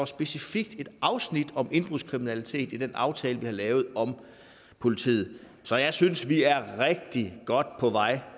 specifikt et afsnit om indbrudskriminalitet i den aftale vi har lavet om politiet så jeg synes vi er rigtig godt på vej